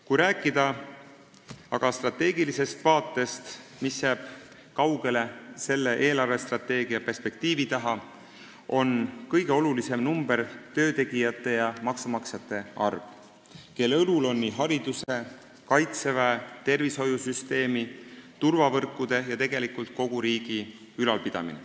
Kui rääkida aga strateegilisest vaatest, mis jääb kaugele selle eelarvestrateegia perspektiivi taha, siis on kõige olulisem number töötegijate ja maksumaksjate arv, kelle õlul on hariduse, kaitseväe, tervishoiusüsteemi, turvavõrkude ja tegelikult kogu riigi ülalpidamine.